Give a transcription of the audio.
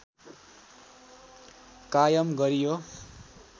कायम गरियो